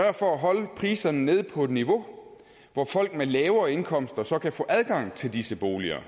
for at holde priserne nede på et niveau hvor folk med lavere indkomster kan få adgang til disse boliger